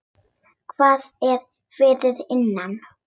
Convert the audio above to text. Hvað er fyrir innan?